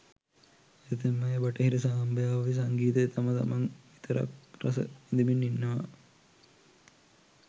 ඇතැම් අය බටහිර සම්භාව්‍ය සංගීතය තම තමන් විතරක් රස විඳිමින් ඉන්නවා.